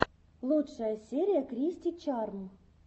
лучшая серия кристи чарм